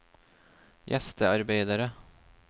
gjestearbeidere